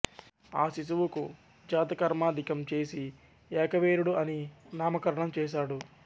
ఆ శిశువుకు జాతకర్మాదికం చేసి ఏకవీరుడు అని నామకరణం చేశాడు